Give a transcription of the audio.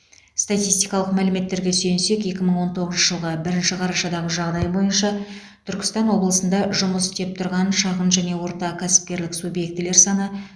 статистикалық мәліметтерге сүйенсек екі мың он тоғызыншы жылғы бірінші қарашадағы жағдай бойынша түркістан облысында жұмыс істеп тұрған шағын және орта кәсіпкерлік субъектілер саны